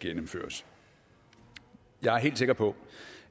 gennemføres jeg er helt sikker på